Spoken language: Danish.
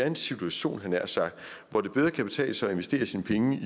en situation hvor det bedre kan betale sig at investere sine penge i